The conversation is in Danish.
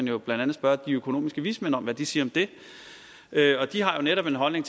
jo blandt andet spørge de økonomiske vismænd om hvad de siger om det de har jo netop en holdning